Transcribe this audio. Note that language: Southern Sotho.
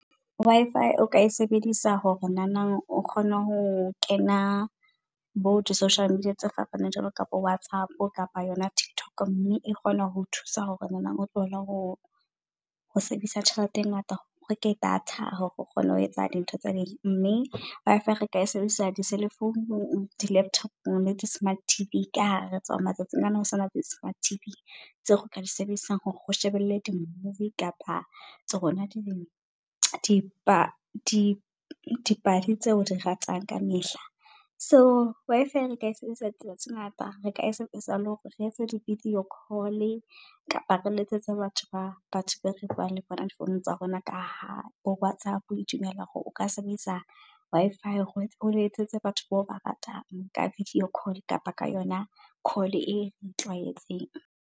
Wi-fi o ka e sebedisa hore nanang o kgone ho kena bo di social media tse fapaneng jwalo kapa Whatsapp kapa yona TikTok. Mme e kgona ho thusa hore nahanang o tlohele ho ho sebedisa tjhelete e ngata. O re ke data hore re kgone ho etsa di ntho tsa di . Wi-Fi re ka sebedisa di selefounu, di laptop-ong le di smart T_V ka har re tseba hore matsatsing ana ho sebediswa di smart T_V tseo ka di sebedisang hore o shebelle di movie. Kapa tsa rona di di pa di pale tseo di ratang ka mehla. So Wi-Fi re ka sebedisetsa tsela tse ngata re ka sa le hore re etse di videocall kapa re letsetse batho ba batho be re bua le bona di phone tsa rona. Ka ha o WhatsApp e dumella hore o ka sebedisa Wi-Fi, o letsetse batho bao ba ratang ka videocall, kapa ka yona call e o e tlwaetseng.